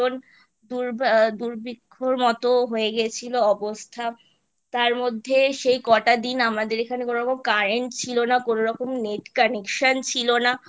দুর দুর্ভিক্ষর মতো হয়ে গেছিলো অবস্থা তারমধ্যে সেই কটা দিন আমাদের এখানে কোনোরকম Current ছিল না কোনোরকম Net Connection ছিল না